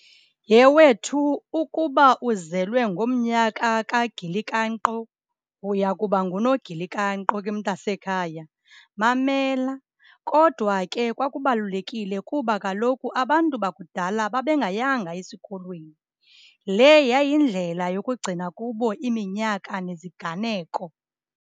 Yhe wethu, ukuba uzelwe ngomnyaka kagilikanqo, uya kuba nguNogilikanqo ke mntasekhaya. Mamela, kodwa ke kwakubalulekile kuba kaloku abantu bakudala babe ngayanga esikolweni. Le yayindlela yokuyigcina kubo iminyaka neziganeko.